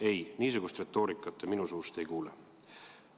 Ei, niisugust retoorikat te minu suust ei kuule.